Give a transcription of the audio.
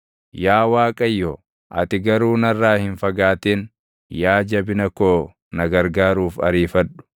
Yaa Waaqayyo, ati garuu narraa hin fagaatin; yaa Jabina koo na gargaaruuf ariifadhu.